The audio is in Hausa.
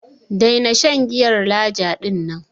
Daina shan giyar Laja din nan.